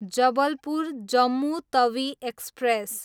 Jabalpur, Jammu Tawi express